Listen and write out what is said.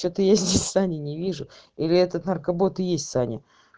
что-то я здесь сани не вижу или этот наркобот и есть саня